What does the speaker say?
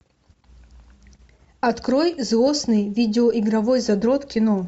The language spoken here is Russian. открой злостный видеоигровой задрот кино